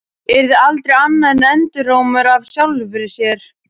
Yrði aldrei annað en endurómur af sjálfri sér.